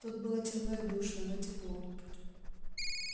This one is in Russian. тут было темно и душно но тепло